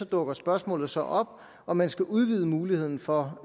dukker spørgsmålet så op om man skal udvide muligheden for